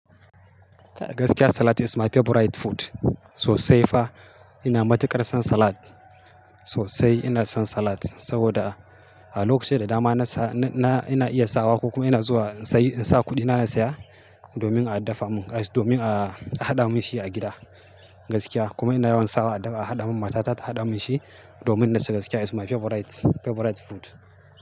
Gaskiya salad is my favorite food. Sosai fa ina matuƙar son salad. Sosai ina son salad saboda a lokacin da dama na sa-- ina iya sawa ko kuma ina zuwa in sayi, in sa kuɗina na saya domin a dafa mun, domin a haɗa mun shi a gida gaskiya. Kuma ina yawan sawa a haɗa mun matata ta haɗa mun shi domin gaskiya is my favorite, favorite food.